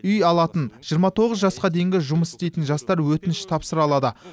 үй алатын жиырма тоғыз жасқа дейінгі жұмыс істейтін жастар өтініш тапсыра алады